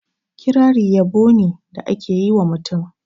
Kirari yabo ni da a ke yi ma mutum.